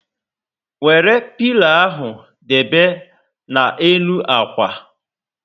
Wéré pilo ahụ debe na n'elu ákwà